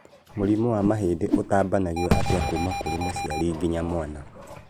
Mũrimũ wa mahĩndĩ ũtambanagio atĩa kuma kũrĩ mũciari nginya mwana